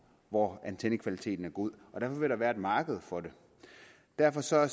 hvor antennekvaliteten er god og derfor vil der være et marked for det derfor ser